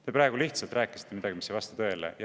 Te praegu rääkisite midagi, mis ei vasta tõele.